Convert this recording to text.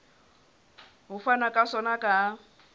ho fanwa ka sona ka